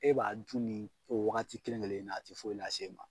E b'a dun nin o wagati kelen-kelen na a te foyi las'e ma.